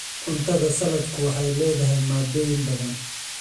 Cuntada saladku waxay leedahay maaddooyin badan.